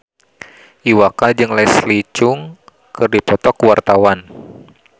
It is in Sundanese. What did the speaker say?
Iwa K jeung Leslie Cheung keur dipoto ku wartawan